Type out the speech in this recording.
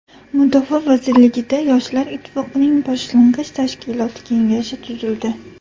Mudofaa vazirligida Yoshlar ittifoqining boshlang‘ich tashkiloti kengashi tuzildi.